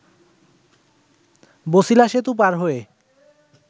বছিলা সেতু পার হয়ে